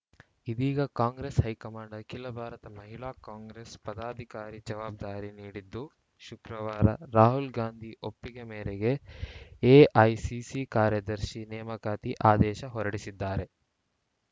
ಇದೀಗ ಕಾಂಗ್ರೆಸ್‌ ಹೈಕಮಾಂಡ್‌ ಅಖಿಲ ಭಾರತ ಮಹಿಳಾ ಕಾಂಗ್ರೆಸ್‌ ಪದಾಧಿಕಾರಿ ಜವಾಬ್ದಾರಿ ನೀಡಿದ್ದು ಶುಕ್ರವಾರ ರಾಹುಲ್‌ಗಾಂಧಿ ಒಪ್ಪಿಗೆ ಮೇರೆಗೆ ಎಐಸಿಸಿ ಕಾರ್ಯದರ್ಶಿ ನೇಮಕಾತಿ ಆದೇಶ ಹೊರಡಿಸಿದ್ದಾರೆ